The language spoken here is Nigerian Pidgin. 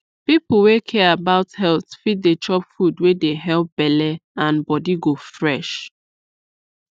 people wey care about health fit dey chop food wey dey help belle and body go fresh